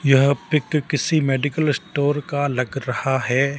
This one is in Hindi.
यह पिक किसी मेडिकल स्टोर का लग रहा है।